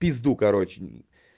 в пизду короче